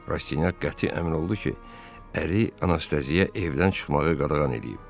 Rastinyak qəti əmin oldu ki, əri Anastasiyaya evdən çıxmağı qadağan eləyib.